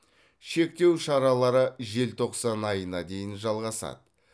шектеу шаралары желтоқсан айына дейін жалғасады